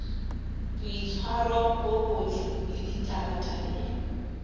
boitshwaro bo botle le ditabatabelo